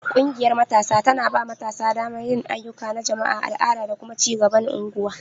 Ƙungiyar Matasa tana ba matasa damar yin ayyuka na jama'a, al'ada, da kuma ci gaban unguwa.